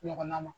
Ɲɔgɔnna ma